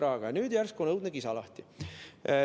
Aga nüüd järsku on õudne kisa lahti.